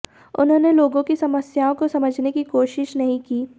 उन्होंने लोगों की समस्याओं को समझने की कोई कोशिश नहीं की